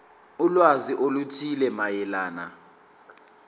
ulwazi oluthile mayelana